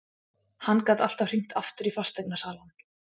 Hann gat alltaf hringt aftur í fasteignasalann.